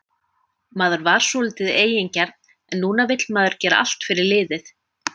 Maður var svolítið eigingjarn en núna vill maður gera allt fyrir liðið.